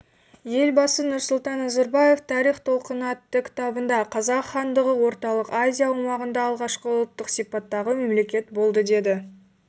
елбасы нұрсұлтан назарбаев тарих толқыныатты кітабында қазақ хандығы орталық азия аумағында алғашқы ұлттық сипаттағы мемлекет болдыдеді